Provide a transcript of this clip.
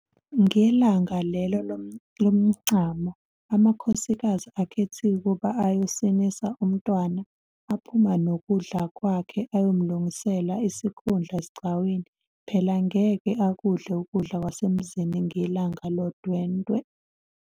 Ngelanga lelo lomncamo, amakhosikazi akhethiwe ukuba ayosinisa umntwana aphuma nokudla kwakhe ayomlungisela isikhundla esigcawini phela ngeke akudle ukudla kwasemzini ngelanga lodwendwe.